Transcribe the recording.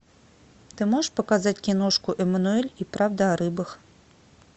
ты можешь показать киношку эмануэль и правда о рыбах